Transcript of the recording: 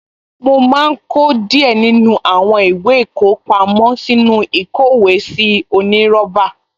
Mo máa kó díẹ̀ nínú àwọn ìwé ìkọpámọ́ sínú ìkówèésí onírọ́bà